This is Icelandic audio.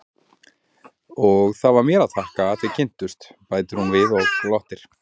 Og það var mér að þakka að þið kynntust, bætir hún við og glottir.